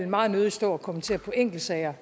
meget nødig stå og kommentere på enkeltsager